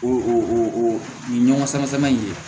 O o o ɲɔgɔn sama sama in ye